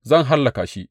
Zan hallaka shi!